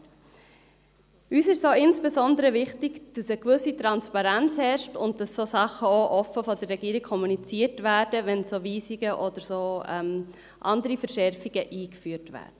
Uns ist es auch insbesondere wichtig, dass eine gewisse Transparenz herrscht und solche Sachen offen von der Regierung kommuniziert werden, wenn Weisungen oder andere Verschärfungen eingeführt werden.